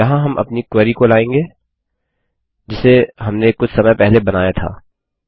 यहाँ हम अपनी क्वेरी को लायेंगे जिसे हमने कुछ समय पहले बनाया था